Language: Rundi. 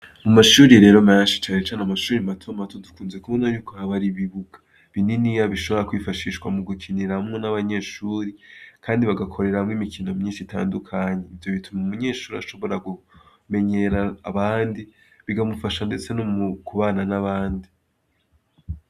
Amashure menshi matomato, dukunze kubona ko haba har' ibibuga binini bishobora kwifashishwa mu gukiniramw' abanyeshure kandi bagakoreramw' imikino myinsh' itandukanye, ivyo bitum' umunyeshur' ashobora kumenyer' abandi bikamufasha mbese nomu kubana n' abandi.